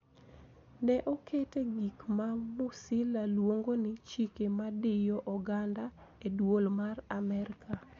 Ne oketo gik ma Musila luongo ni Chike madiyo oganda e Dwol mar Amerka.